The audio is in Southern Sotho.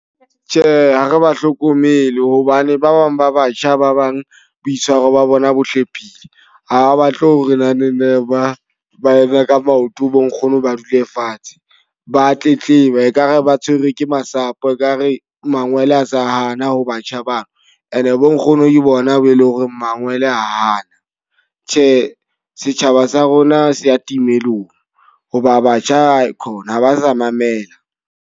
Tjhe, ha re ba hlokomele hobane ba bang ba batjha ba bang boitshwaro ba bona bo hlephile. Ha ba batle ho re naneng ba ba eme ka maoto bo nkgono ba dule fatshe. Ba tletleba, e ka re ba tshwerwe ke masapo. E ka re mangwele a sa hana ho batjha bano. E ne bo nkgono ke bona be leng hore mangwele a hana. Tjhe, setjhaba sa rona se a timellong hoba batjha aekhona ha ba sa mamela.